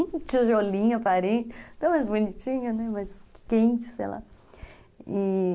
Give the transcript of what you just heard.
um tijolinho aparente, tão mais bonitinho, né, mais quente, sei lá. E...